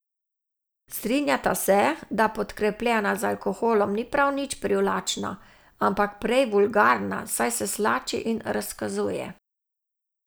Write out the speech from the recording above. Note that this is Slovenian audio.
Strinjata se, da podkrepljena z alkoholom ni prav nič privlačna, ampak prej vulgarna, saj se slači in razkazuje.